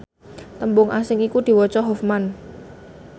tembung asing iku diwaca hofman